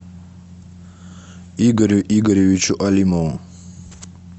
игорю игоревичу алимову